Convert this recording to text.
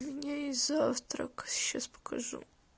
у меня есть завтрак сейчас покажу